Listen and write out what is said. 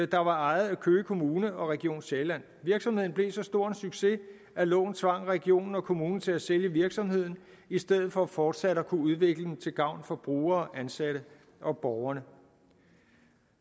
der var ejet af køge kommune og region sjælland virksomheden blev så stor en succes at loven tvang regionen og kommunen til at sælge virksomheden i stedet for fortsat at kunne udvikle den til gavn for brugere ansatte og borgere